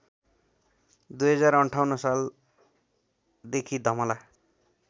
२०५८ सालदेखि धमला